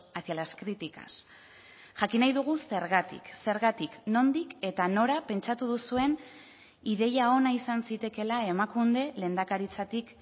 hacia las críticas jakin nahi dugu zergatik zergatik nondik eta nora pentsatu duzuen ideia ona izan zitekeela emakunde lehendakaritzatik